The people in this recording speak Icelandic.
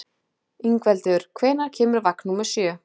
Ingveldur, hvenær kemur vagn númer sjö?